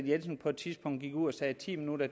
jensen på et tidspunkt gik ud og sagde at ti minutter